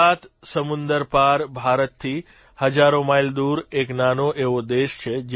સાત સમુંદર પાર ભારતથી હજારો માઇલ દૂર એક નાનો એવો દેશ છે